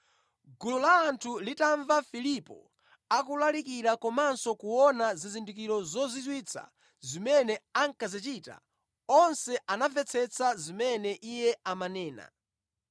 Gulu la anthu litamva Filipo akulalikira komanso kuona zizindikiro zozizwitsa zimene ankazichita, onse anamvetsetsa zimene iye amanena.